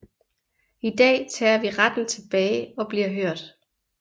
I dag tager vi retten tilbage og bliver hørt